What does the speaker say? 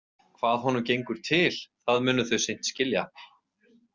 Hvað honum gengur til, það munu þau seint skilja.